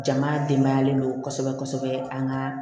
Jama denbayalen don kosɛbɛ kosɛbɛ an ka